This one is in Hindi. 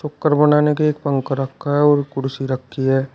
बनाने के एक पंखा रखा है और कुर्सी रखी है।